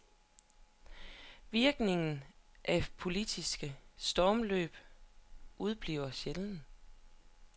Virkningen af politiske stormløb udebliver sjældent.